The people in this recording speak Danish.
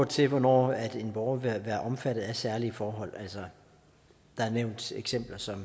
til hvornår en borger vil være omfattet af særlige forhold altså der er nævnt eksempler som